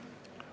Ei.